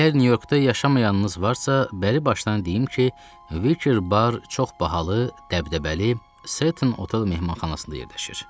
Əgər New Yorkda yaşamayanınız varsa, bəri başdan deyim ki, Wicker Bar çox bahalı, dəbdəbəli, Sutton Hotel mehmanxanasında yerləşir.